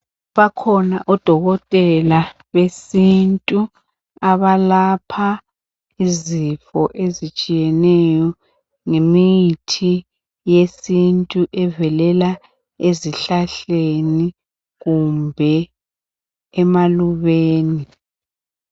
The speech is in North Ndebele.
Bakhona odokotela abesintu abalapha izifo ezitshiyeneyo ngemithi yesintu evelela ezihlahleni kumbe emalubeni.